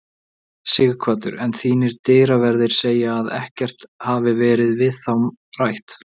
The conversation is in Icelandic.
Sighvatur: En þínir dyraverðir segja að ekkert hafi verið við þá rætt?